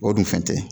O dun fɛn tɛ